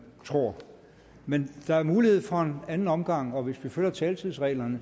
tror men der er mulighed for en anden omgang og hvis vi følger taletidsreglerne